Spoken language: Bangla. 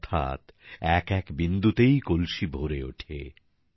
অর্থাৎ এক এক বিন্দুতেই কলসি ভরে ওঠে